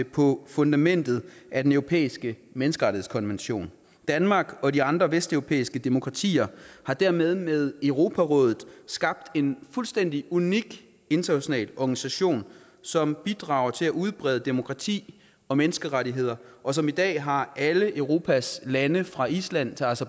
på fundamentet af den europæiske menneskerettighedskonvention danmark og de andre vesteuropæiske demokratier har dermed med europarådet skabt en fuldstændig unik international organisation som bidrager til at udbrede demokrati og menneskerettigheder og som i dag har alle europas lande fra island